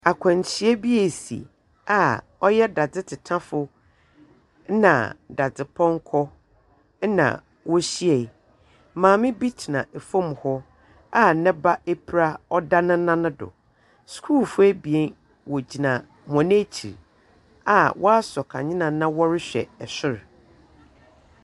Akwahyia bi ɛsi a ɔyɛ dadetetafoɔ na dadzepɔnkɔ ɛna wohyiaɛ. Maame bi tena ɛfam hɔ a ne ba ɛpira ɔda ne nan do. Schoolfoɔ ebien, wɔgyina wɔn akyi a woaso kanea na ɔrehwɛ ɛsor.